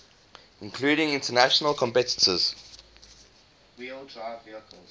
including international competitors